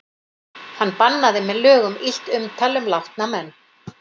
Hann bannaði með lögum illt umtal um látna menn.